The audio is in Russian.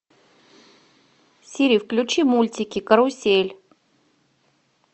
сири включи мультики карусель